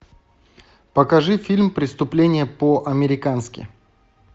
покажи фильм преступление по американски